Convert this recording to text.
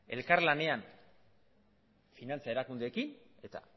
elkarlanean finantza erakundeekin eta